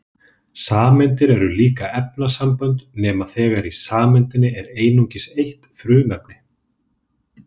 Sameindir eru líka efnasambönd nema þegar í sameindinni er einungis eitt frumefni.